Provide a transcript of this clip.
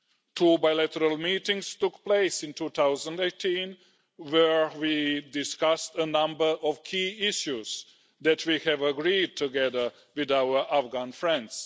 Two bilateral meetings took place in 2018 where we discussed a number of key issues that we have agreed together with our Afghan friends.